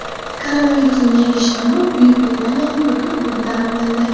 Koronavirusning yangi shtammi Buyuk Britaniyaning butun hududida aniqlandi.